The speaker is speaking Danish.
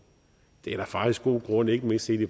det er der faktisk god grund ikke mindst set i